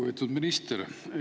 Lugupeetud minister!